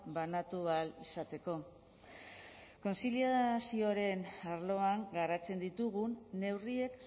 banatu ahal izateko kontziliazioaren arloan garatzen ditugun neurriek